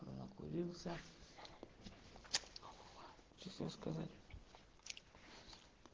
за